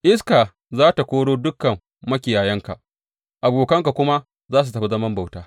Iska za tă koro dukan makiyayanka abokanka kuma za su tafi zaman bauta.